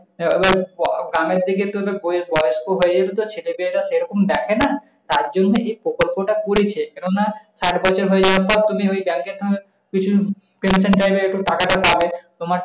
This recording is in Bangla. আহ গ্রামের দিকে তো ব~ বয়স্কো হয়ে গেলেতো ছেলে-মেয়েরা সেরকম দেখে না তার জন্য এই প্রকল্প টা করেছে। কেননা সাটবছর হয়ে যাওয়ার পর তুমি ওই bank এর কিছু pension type এর টাকাটা পাবে। তোমার,